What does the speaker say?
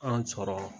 An sɔrɔ